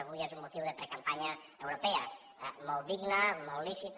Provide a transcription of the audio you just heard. avui és un motiu de precampanya europea molt digna molt lícita